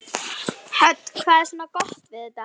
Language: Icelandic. Hödd: Hvað er svona gott við þetta?